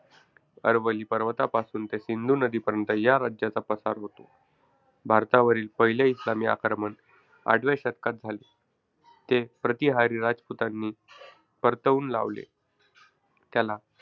अरवली पर्वतापासून ते सिंधू नदीपर्यंत या राज्याचा पसार होता. भारतावरील पहिले इस्लामी आक्रमण आठव्या शतकात झाले. ते प्रतिहारी रजपुतांनी परतवून लावले. त्याला,